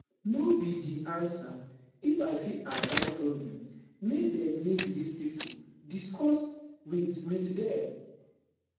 no be di answer if i fit advise goment make dem meet dis pipo discuss wit wit dem